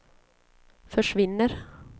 försvinner